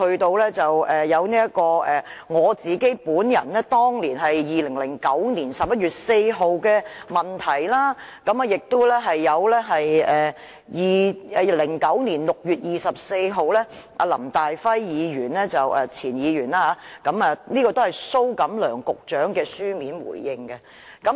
接着，我在2009年11月4日提出了質詢，還有前議員林大輝在2009年6月24日提出了書面質詢，是由蘇錦樑局長答覆的。